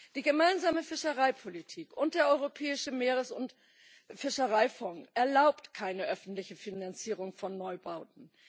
Die gemeinsame Fischereipolitik und der europäische Meeres und Fischereifonds erlauben keine öffentliche Finanzierung von Neubauten.